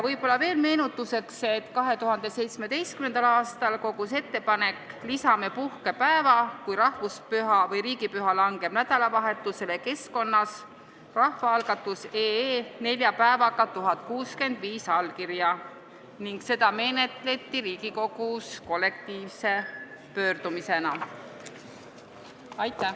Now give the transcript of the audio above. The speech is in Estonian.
Võib-olla veel meenutuseks, et 2017. aastal kogus ettepanek "Lisame puhkepäeva, kui rahvuspüha või riigipüha langeb nädalavahetusele" keskkonnas rahvaalgatus.ee nelja päevaga 1065 allkirja ning seda menetleti Riigikogus kollektiivse pöördumisena.